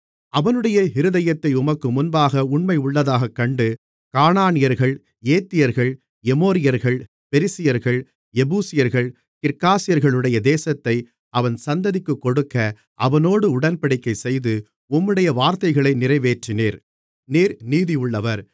அவனுடைய இருதயத்தை உமக்கு முன்பாக உண்மையுள்ளதாகக்கண்டு கானானியர்கள் ஏத்தியர்கள் எமோரியர்கள் பெரிசியர்கள் எபூசியர்கள் கிர்காசியகளுடைய தேசத்தை அவன் சந்ததிக்குக் கொடுக்க அவனோடு உடன்படிக்கைசெய்து உம்முடைய வார்த்தைகளை நிறைவேற்றினீர் நீர் நீதியுள்ளவர்